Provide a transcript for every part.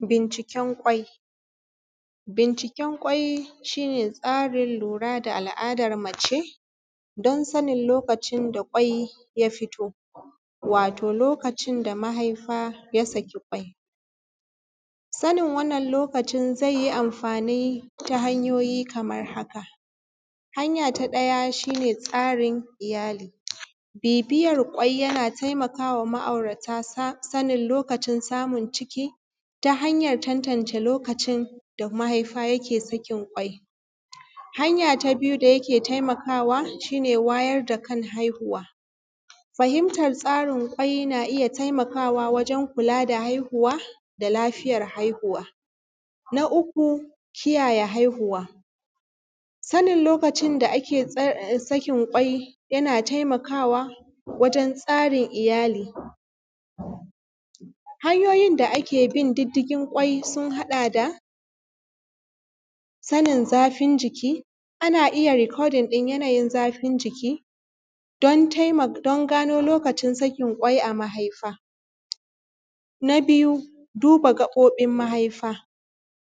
Binciken ƙwai. Binciken ƙwai shi ne tsarin lura da al’adan mace don sanin da lokacin da ƙwai ya fito, wato lokacin da mahaifa ya saki ƙwai. Sanin wannan lokaci zai yi amfani ta hanyoyi kamar haka. Hanya ta ɗaya shi ne tsarin iyali bibiyan ƙwai yana taimaka wa ma'aurata sanin lokacin samun ciki, ta hanyan tantance lokacin da mahaifa yake sakin ƙwai. Hanya ta biyu da yake taimakawa shi ne wayar da kan haihuwa, fahimtar tsarin ƙwai na iya taimakawa wajen kula da haihuwa da lafiyar haihuwa. Na uku kiyaye haihuwa, sanin lokacin da ake sakin ƙwai yana taimakawa wajen tsarin iyali. Hanyoyin da ake bin diddigin ƙwai sun haɗa da sanin zafin jiki, ana iya recording ɗin yanayin zafin jiki don gano lokacin sakin ƙwai a mahaifa. Na biyu duba gaɓoɓin mahaifa,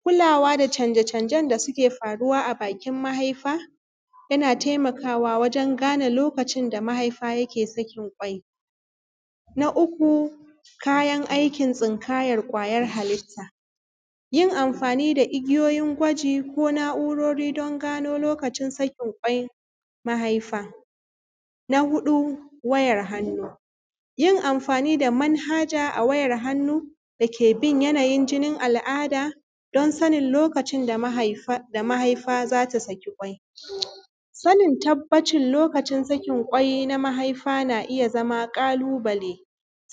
kulawa da canje canjen da suke faruwa a bakin mahaifa yana taimakawa wajen gane lokacin da mahaifa ya ke sakin ƙwai. Na uku kayan aikin tsinkayan kwayan halitta. Yin amfani da igiyoyin gwaji ko na’urori don gano lokacin sakin ƙwai mahaifa. Na huɗu wayar hannu yin amfani da manhaja a wayar hannu da ke bin yanayin jinin al’ada don sanin lokacin da mahaifa za ta saki ƙwai. Sanin tabbacin lokacin sakin ƙwai na mahaifa na iya zama ƙalubale,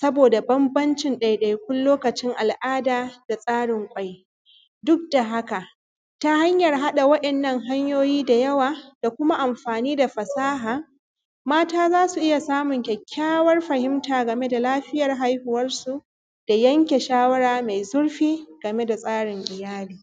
saboda banbancin ɗaiɗaikun lokacin al’ada da tsarin ƙwai. Duk da haka ta hanyan haɗa wa’innan hanyoyi da yawa da kuma amfani da fasaha, mata za su iya samun kyakkyawan fahimta game da lafiya haihuwar su da yanke shawara mai zurfi game da tsarin iyali.